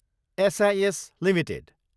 cease Ltd